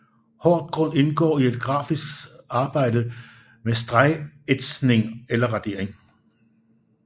Hårdgrund indgår i det grafiske arbejde med stregætsning eller radering